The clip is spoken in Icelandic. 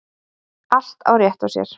Allt á rétt á sér.